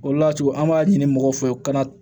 O le y'a to an b'a ɲini mɔgɔw fɛ u ka na